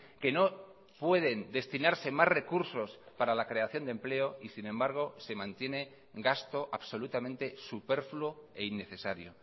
que no pueden destinarse más recursos para la creación de empleo y sin embargo se mantiene gasto absolutamente superfluo e innecesario